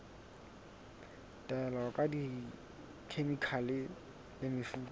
taolo ka dikhemikhale le mefuta